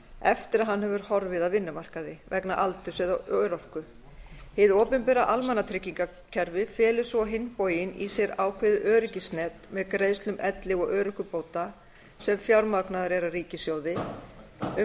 eftir að hann hefur horfið af vinnumarkaði vegna aldurs eða örorku hið opinbera almannatryggingakerfi felur svo á hinn bóginn í sér ákveðið öryggisnet með greiðslum elli og örorkubóta sem fjármagnaður er af ríkissjóði um